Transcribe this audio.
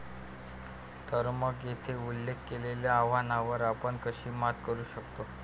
तर मग, येथे उल्लेख केलेल्या आव्हानांवर आपण कशी मात करू शकतो?